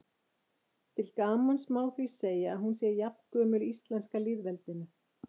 Til gamans má því segja að hún sé jafngömul íslenska lýðveldinu.